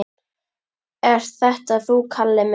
Ert þetta þú, Kalli minn?